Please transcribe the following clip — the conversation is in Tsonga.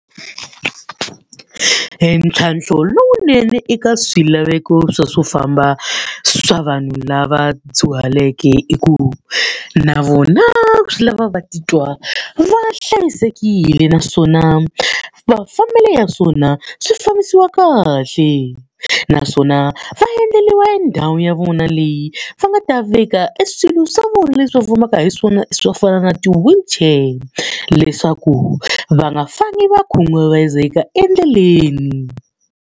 Entlhantlho lowunene eka swilaveko swa swo famba swa vanhu lava dyuhaleke i ku, na vona swi lava va titwa va hlayisekile naswona mafambelo ya swona swi fambisiwa kahle. Naswona va endleriwa e ndhawu ya vona leyi va nga ta veka e swilo swa vona leswi va fambaka hi swona swo fana na ti-wheelchair. Leswaku va nga fambi va khunguvanyiseka endleleni.